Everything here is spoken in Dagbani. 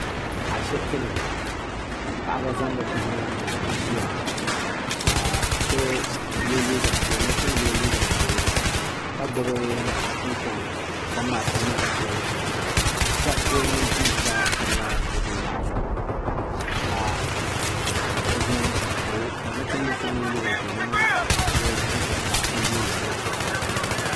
Ashibiti ni ka paɣaba zaŋ bi bihi na n ti ʒiya ka nachinbila yɛ liiga ʒee ka gbubi kunkɔŋ kunkɔŋ maa tam la teebuli zuɣu shariti mini tima gba tam la teebuli maa zuɣu ka nachinbila so ŋun yɛ liiga ʒee maa wuɣi o zuɣu zuɣusaa n yuuni luɣushɛli polo.